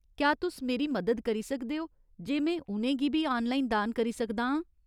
क्या तुस मेरी मदद करी सकदे ओ जे में उ'नें गी बी आनलाइन दान करी सकदा आं ?